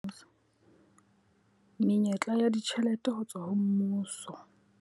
Menyetla ya ditjhelete ho tswa ho mmuso.